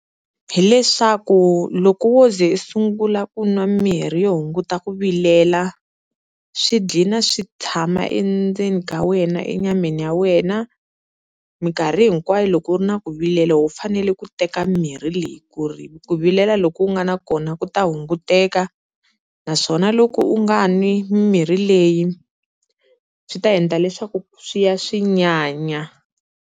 Hi leswaku loko wo ze u sungula ku nwa mirhi yo hunguta ku vilela swi gqina swi tshama endzeni ka wena enyameni ya wena, minkarhi hinkwayo loko u ri na ku vilela ho fanele ku teka mimirhi leyi ku ri ku vilela loko u nga na kona ku ta hunguteka naswona loko u nga nwi mimirhi leyi swi ta endla leswaku swi ya swi nyanya.